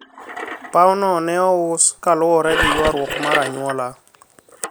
paw no ne ous kaluwore gi ywaruok mar anyuola